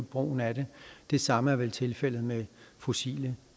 brugen af det det samme er vel tilfældet med fossile